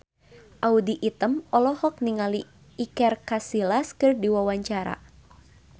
Audy Item olohok ningali Iker Casillas keur diwawancara